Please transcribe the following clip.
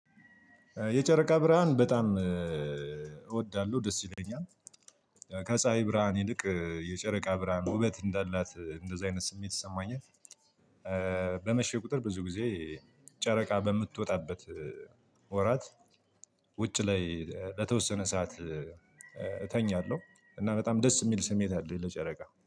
የጨረቃ ብርሃን በጣም እወዳለሁ ደስ ይለኛል ከፀሀይ ብርሃን ይልቅ የጨረቃ ብርሃን ውበት እንዳላት እንደዚህ አይነት ስሜት ይሰማኛል። በመሸ ቁጥር ብዙ ጊዜ ጨረቃ በምትወጣበት ወራት ውጭ ላይ በተወሰነ ሰዓት እተኛለሁ። እና በጣም ደስ የሚል ስሜት አለኝ ለጨረቃ